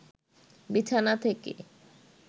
বিছানা থেকে